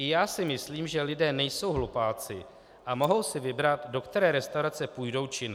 I já si myslím, že lidé nejsou hlupáci a mohou si vybrat, do které restaurace půjdou či ne.